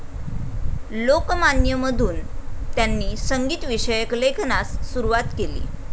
लोकमान्य' मधून त्यांनी संगीत विषयक लेखनास सुरवात केली.